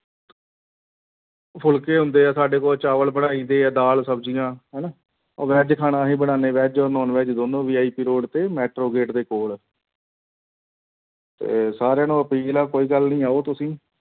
ਫੁਲਕੇ ਹੁੰਦੇ ਆ ਸਾਡੇ ਕੋਲ ਚਾਵਲ ਬਣਾਈਦੇ ਆ, ਦਾਲ ਸਬਜ਼ੀਆਂ ਹਨਾ ਉਹ veg ਖਾਣਾ ਵੀ ਬਣਾਉਂਦੇ veg ਔਰ non-veg ਦੋਨੋਂ VIP road ਤੇ ਮੈਟਰੋ gate ਦੇ ਕੋਲ ਤੇ ਸਾਰਿਆਂ ਨੂੰ ਅਪੀਲ ਆ ਕੋਈ ਗੱਲ ਨੀ ਆਓ ਤੁਸੀਂ